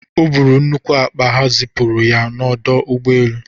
O buru nnukwu akpa ha zipụrụ ya n'ọdụ ụgbọ elu.